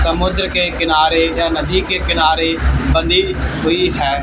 समुद्र के किनारे या नदी के किनारे बंधी हुई है।